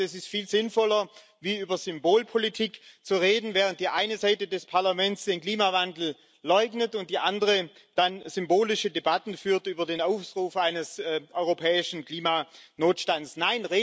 Ich glaube, das ist viel sinnvoller, als über Symbolpolitik zu reden, während die eine Seite des Parlaments den Klimawandel leugnet und die andere dann symbolische Debatten über den Ausruf eines europäischen Klimanotstands führt.